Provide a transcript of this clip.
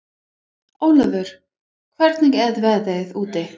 Ólafur, hvernig er veðrið úti?